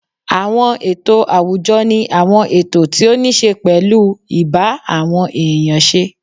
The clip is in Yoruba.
Àwọn ètò àwùjọ ni àwọn ètò tí ó níṣe pẹ̀lú ì bá àwọn èèyàn ṣe